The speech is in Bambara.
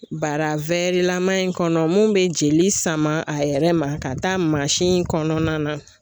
Bara lama in kɔnɔ mun be jeli sama a yɛrɛ ma ka taa kɔnɔna na